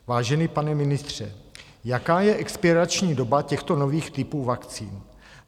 Vážený pane ministře, jaká je expirační doba těchto nových typů vakcín?